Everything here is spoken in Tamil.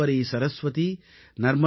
கங்கே ச யமுனே சைவ கோதாவரி சரஸ்வதி